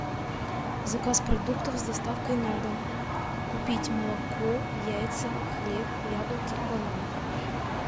заказ продуктов с доставкой на дом купить молоко яйца хлеб яблоки бананы